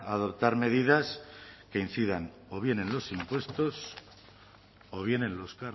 adoptar medidas que incidan o bien en los impuestos o bien en los